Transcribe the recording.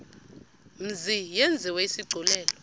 mzi yenziwe isigculelo